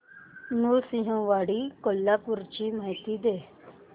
नृसिंहवाडी कोल्हापूर ची मला माहिती दे